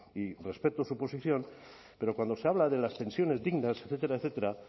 y respeto su posición pero cuando se habla de las pensiones dignas etcétera etcétera